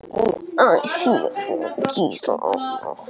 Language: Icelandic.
Fyrir átti Íris Gísla Arnar.